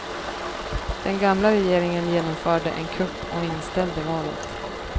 Den gamla regeringen genomförde en kupp och inställde valet.